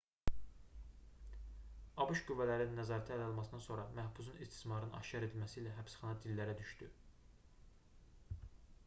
abş qüvvələrinin nəzarəti ələ almasından sonra məhbusun istismarının aşkar edilməsi ilə həbsxana dillərə düşdü